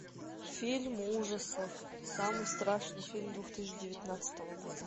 фильм ужасов самый страшный фильм две тысячи девятнадцатого года